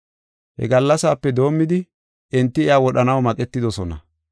He gallasape doomidi enti iya wodhanaw maqetidosona.